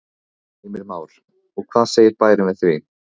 Heimir Már: Og hvað segir bærinn við því?